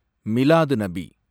Milad-un-Nabi